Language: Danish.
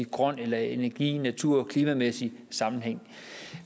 grøn eller energi natur og klimamæssig sammenhæng